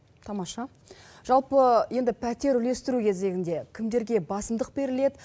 тамаша жалпы енді пәтер үлестіру кезегінде кімдерге басымдық беріледі